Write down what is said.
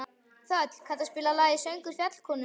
Þöll, kanntu að spila lagið „Söngur fjallkonunnar“?